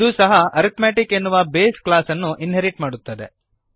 ಇದೂ ಸಹ ಅರಿಥ್ಮೆಟಿಕ್ ಎನ್ನುವ ಬೇಸ್ ಕ್ಲಾಸ್ ಅನ್ನು ಇನ್ಹೆರಿಟ್ ಮಾಡುತ್ತದೆ